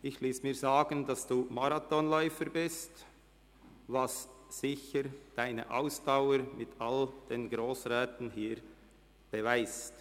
Ich habe mir sagen lassen, Sie seien Marathonläufer, was sicher Ihre Ausdauer mit all den Grossräten hier beweist.